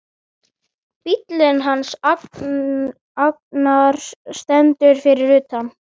Bíllinn hans Agnars stendur fyrir utan.